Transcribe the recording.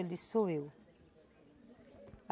Ele disse, sou eu.